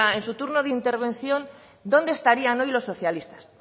en su turno de intervención dónde estarían hoy los socialistas